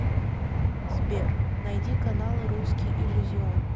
сбер найди каналы русский иллюзион